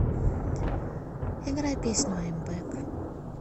играй песню айм бэк